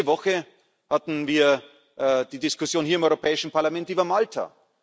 Diese Woche hatten wir die Diskussion hier im Europäischen Parlament über Malta.